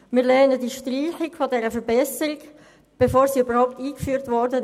Wir lehnen die Streichung dieser Verbesserung ab, noch bevor diese überhaupt eingeführt wurde.